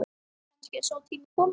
Kannski er sá tími kominn.